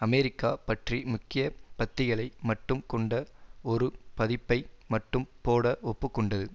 America பற்றி முக்கிய பத்திகளை மட்டும் கொண்ட ஒரு பதிப்பை மட்டும் போட ஒப்பு கொண்டது